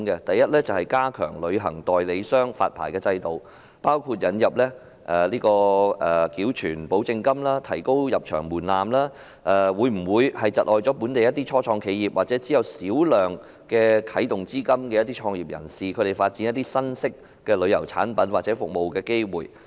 第一，加強旅行代理商的發牌制度的措施，包括引入繳存保證金和提高入場門檻，對本地初創企業或僅有少量啟動資金的創業人士而言，會否窒礙他們發展新式的旅遊產品或服務的機會。